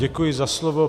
Děkuji za slovo.